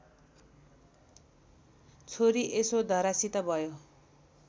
छोरी यशोधरासित भयो